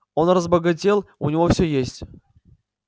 он разбогател у него все есть